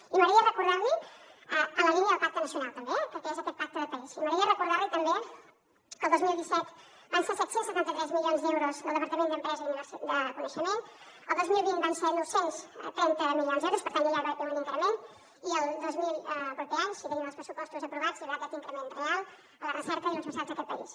i m’agradaria recordar li en la línia del pacte nacional també que és aquest pacte de país i m’agradaria recordar li també que el dos mil disset van ser set cents i setanta tres milions d’euros del departament d’empresa i coneixement el dos mil vint van ser nou cents i trenta milions d’ euros per tant ja hi va haver un increment i el proper any si tenim els pressupostos aprovats hi haurà aquest increment real a la recerca i a les universitats d’aquest país